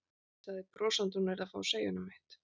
Sagði brosandi að hún yrði að fá að segja honum eitt.